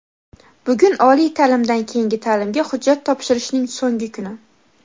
Bugun oliy ta’limdan keyingi ta’limga hujjat topshirishning so‘ngi kuni.